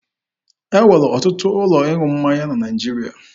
E nwere ọtụtụ ụlọ ịṅụ mmanya na Naịjirịa.